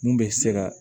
Mun bɛ se ka